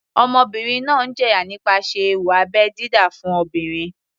Ọmọbìnrin náà ń jẹ̀yà nípasẹ̀ ewu abẹ́ dídá fún obìnrin.